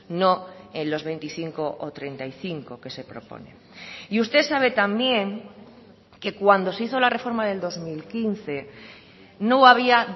no en los veinticinco ó treinta y cinco que se propone y usted sabe también que cuando se hizo la reforma del dos mil quince no había